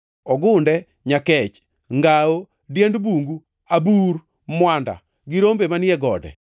ogunde, nyakech, ngawo, diend bungu, abur, mwanda gi rombe manie gode.